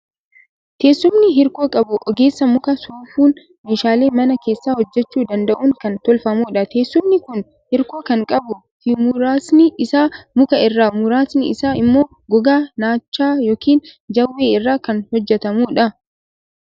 Teessumni hirkoo qabu ogeessa muka soofuun meeshaalee mana keessaa hojjechuu danda'uun kan tolfamudha. Teessumni kun hirkoo kan qabuu fimuraasni isaa muka irraa muraasni isaa immoo gogaa naachaa yookiin jawwee irraa kan hojjetamudha.